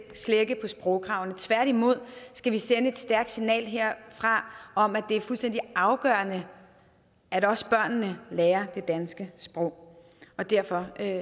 slække på sprogkravene tværtimod skal vi sende et stærkt signal herfra om at det er fuldstændig afgørende at også børnene lærer det danske sprog og derfor